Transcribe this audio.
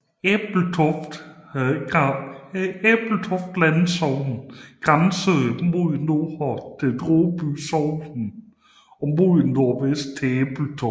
Ebeltoft Landsogn grænsede mod nord til Dråby Sogn og mod nordvest til Ebeltoft